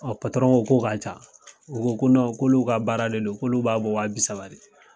ko k'a ca u ko ko k'olu ka baara de don k'olu b'a bɔ wa bi saba de.